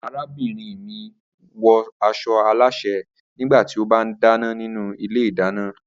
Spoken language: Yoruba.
Arábìnrin mi wọ aṣọ alásè nígbà tí ó bá ń dáná nínú ilé ìdáná.